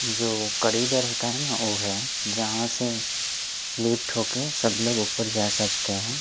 जो होता है ना वो है जहां से लिफ्ट होके सब लोग ऊपर जा सकते है।